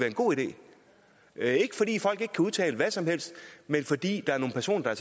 en god idé det er ikke fordi folk ikke udtale hvad som helst men fordi der er nogle personer der